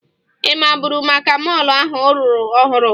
Ị maburu maka mọọlụ ahụ a rụrụ ọhụrụ?